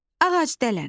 Ağac dələn.